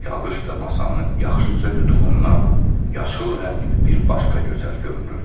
Yağış da masanı yaxşıca yuduğundan yaşıl rəng bir başqa gözəl görünürdü.